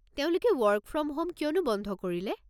তেওঁলোকে work from home কিয়নো বন্ধ কৰিলে?